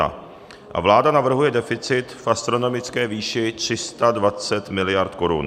A vláda navrhuje deficit v astronomické výši 320 miliard korun.